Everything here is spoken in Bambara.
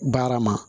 Baara ma